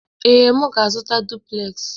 Ee, m ga-azụta duplez.